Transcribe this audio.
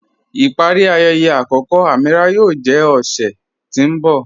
Ipari ayẹyẹ akọkọ Amīràh yóò jẹ ọṣẹ̀ tí n bọ̀.